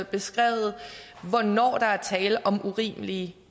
beskrevet hvornår der er tale om urimelige